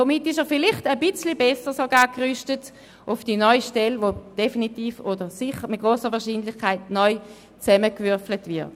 Somit ist er vielleicht sogar ein bisschen besser gerüstet für die neue Stelle, die definitiv oder sicher mit grosser Wahrscheinlichkeit neu zusammengewürfelt wird.